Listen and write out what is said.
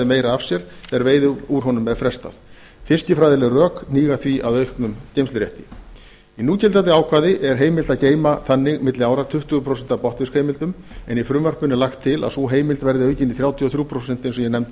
meira af sér ef veiði úr honum er frestað fiskifræðileg rök hníga því að auknum geymslufresti í núgildandi ákvæði er heimilt að geyma þannig milli ára tuttugu prósent af botnfiskheimildum en í frumvarpinu er lagt til að sú heimild verði aukin í þrjátíu og þrjú prósent eins og ég nefndi